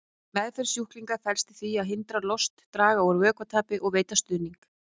Meðferð sjúklinga felst í því að hindra lost, draga úr vökvatapi og veita stuðning.